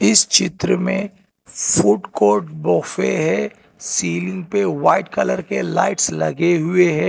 इस चित्र में फोर्ट कोर्ट सोफे हैं सीलिंग पे व्हाइट कलर्स के लाइट लगे हैं।